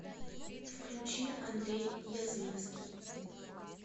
включи андрей язвинский